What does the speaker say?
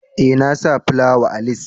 Eh, na sa plawan a lis.